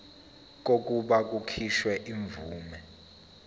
kokuba kukhishwe imvume